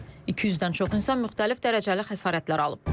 200-dən çox insan müxtəlif dərəcəli xəsarətlər alıb.